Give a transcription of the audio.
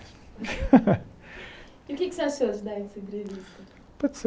E o que que você achou de dar essa entrevista?